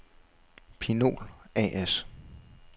Pinol A/S